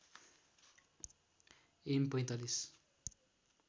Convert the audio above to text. am ४५